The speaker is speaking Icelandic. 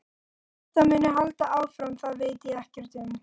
Hvort það muni halda áfram það veit ég ekkert um.